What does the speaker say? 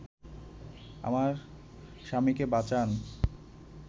আমার স্বামীকে বাঁচান